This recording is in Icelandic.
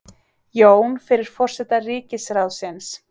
Jón fyrir forseta ríkisráðsins.